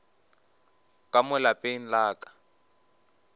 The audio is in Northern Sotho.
ka mo lapeng la ka